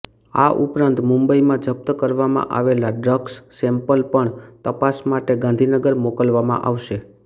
આ ઉપરાંત મુંબઇમાં જપ્ત કરવામાં આવેલા ડ્રગ્સ સેમ્પલ પણ તપાસ માટે ગાંધીનગર મોકલવામાં આવશે